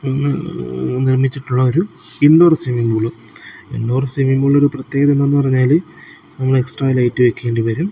MM നിർമിച്ചിട്ടുള്ള ഒരു indoor stadium ആണ് ഇൻഡോർ സ്റ്റേഡിയം ഒരു പ്രത്യേകത എന്താന്ന് പറഞ്ഞാൽ നമ്മൾ എക്സ്ട്രാ ലൈറ്റ് വെക്കണ്ടി വരും.